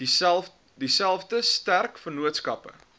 dieselfde sterk vennootskappe